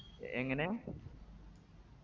എങ്ങനെ